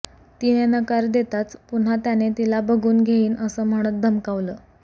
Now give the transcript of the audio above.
तिने नकार देताच पुन्हा त्याने तिला बघून घेईन असं म्हणत धमकावलं